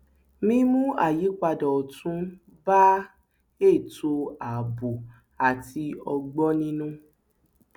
mímú àyípadà ọtún bá ètò ààbò àti ọgbọninú